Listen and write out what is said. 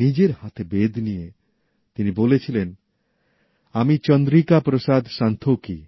নিজের হাতে বেদ নিয়ে তিনি বলেছিলেন আমি চন্দ্রিকা প্রসাদ সন্তোখী